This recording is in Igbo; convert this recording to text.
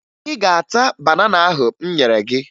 Ị ga-ata banana ahụ m nyere gị!